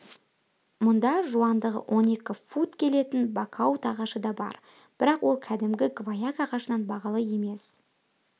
мұнда жуандығы он екі фут келетін бакаут ағашы да бар бірақ ол кәдімгі гваяк ағашынан бағалы емес